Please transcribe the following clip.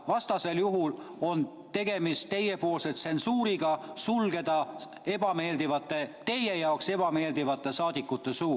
Vastasel juhul on tegemist teie tsensuuriga sulgeda teie jaoks ebameeldivate saadikute suu.